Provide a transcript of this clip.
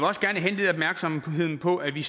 også gerne henlede opmærksomheden på at vi